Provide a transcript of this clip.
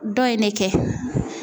Dɔ in ne kɛ.